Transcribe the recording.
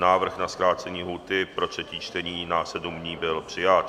Návrh na zkrácení lhůty pro třetí čtení na sedm dní byl přijat.